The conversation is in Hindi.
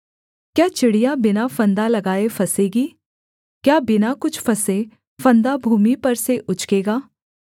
क्या चिड़िया बिना फंदा लगाए फँसेगी क्या बिना कुछ फँसे फंदा भूमि पर से उचकेगा